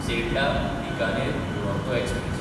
सेल्डाः–बिकानेर Duronto express